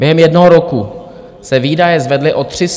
Během jednoho roku se výdaje zvedly o 330 miliard.